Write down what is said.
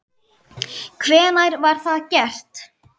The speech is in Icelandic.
Hvenær var það gert?